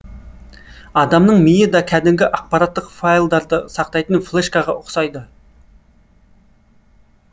адамның миы да кәдімгі ақпараттық файлдарды сақтайтын флешкаға ұқсайды